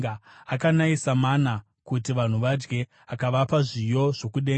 akanayisa mana kuti vanhu vadye, akavapa zviyo zvokudenga.